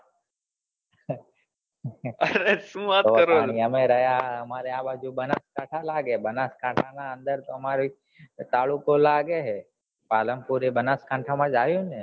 પાલનપુર એ બનાસકાંઠા માજ આયુ ને